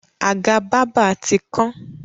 Àga bábà ti kán.